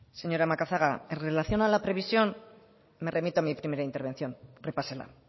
señora macazaga en relación a la previsión me remito a mi primera intervención repásela